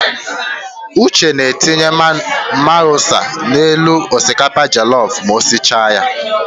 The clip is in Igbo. Uche na-etinye mayonis n'elu osikapa jọlọf ma o sicha ya.